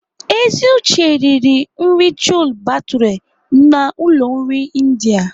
Eziuche riri nri Chole bhature na ụlọ nri India.